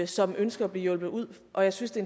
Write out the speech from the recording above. som ønsker at blive hjulpet ud og jeg synes det